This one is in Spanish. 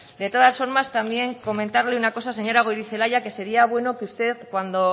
de todas formas también comentarle una cosa señora goirizelaia que sería bueno que usted cuando